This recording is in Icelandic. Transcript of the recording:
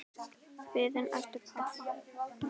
Biðin eftir pabba.